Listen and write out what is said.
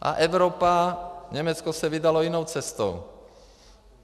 A Evropa - Německo se vydalo jinou cestou.